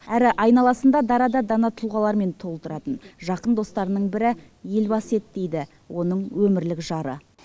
әрі айналасында дара да дана тұлғалармен толтыратын жақын достарының бірі елбасы еді дейді оның өмірлік жары